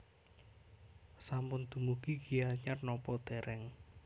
Sampun dumugi Gianyar nopo dereng